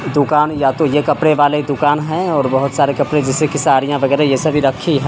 दुकान या तो ये कपड़े वाले दुकान हैं और बहुत सारे कपड़े जैसे की साड़ियाँ वगेरह ये सब भी रखी हैं।